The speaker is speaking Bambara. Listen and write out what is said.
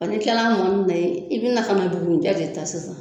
Ɔ n'i kila mɔni na i bi na ka na bugurijɛ de ta sisan